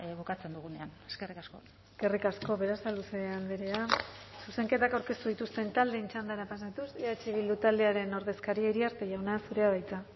bukatzen dugunean eskerrik asko eskerrik asko berasaluze andrea zuzenketak aurkeztu dituzten taldeen txandara pasatuz eh bildu taldearen ordezkaria iriarte jauna zurea da hitza